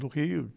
Do rei e...